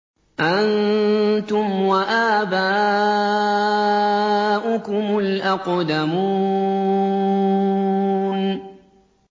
أَنتُمْ وَآبَاؤُكُمُ الْأَقْدَمُونَ